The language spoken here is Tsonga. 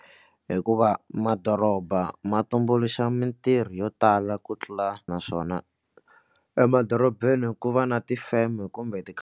Hikuva madoroba ma tumbuluxa mitirho yo tala ku tlula naswona emadorobeni ku va na ti-firm kumbe .